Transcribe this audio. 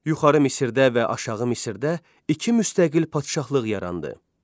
Yuxarı Misirdə və aşağı Misirdə iki müstəqil padşahlıq yarandı.